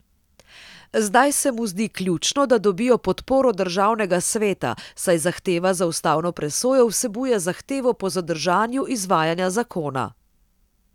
Zdaj se mu zdi ključno, da dobijo podporo državnega sveta, saj zahteva za ustavno presojo vsebuje zahtevo po zadržanju izvajanja zakona.